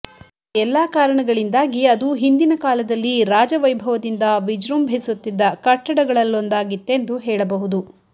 ಆ ಎಲ್ಲಾ ಕಾರಣಗಳಿಂದಾಗಿ ಅದು ಹಿಂದಿನ ಕಾಲದಲ್ಲಿ ರಾಜವೈಭವದಿಂದ ವಿಜೃಂಭಸುತ್ತಿದ್ದ ಕಟ್ಟಡಗಳಲ್ಲೊಂದಾಗಿತ್ತೆಂದು ಹೇಳಬಹುದು